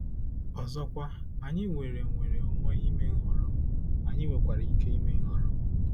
Ọzọkwa, anyị nwere nnwere onwe ime nhọrọ, anyị nwekwara ike ime nhọrọ.